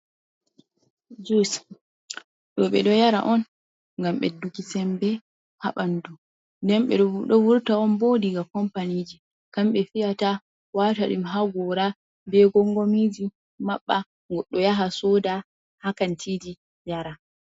Jus ɗo ɓe ɗo yara on ngam ɓeddugi sembe ha ɓandu nden ɓe ɗo vurta on bo diga kompaniji kamɓe fiyata watadim ha gora be gongomiji maɓɓa goɗɗo yaha soda hakantiji yara.